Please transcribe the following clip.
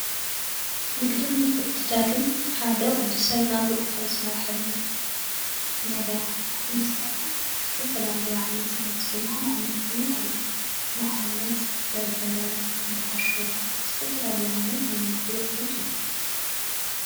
ንግዲን ምትዕድዳግን ሓደ ወደሰብ ናብርኡ ካብ ዝመረሕሉ ነገራት ዝሓዝ እነትትኸውን ዝተፋላለየ ዓይነታት ናውቲ ድማ ናብ ንግዲ ይቐርቡ። ንኣብነት በርበረ ፣ጌሾ ዝተፋላለየ ዓይነት ናይ ንግዲ ኣቑሑት እዩ።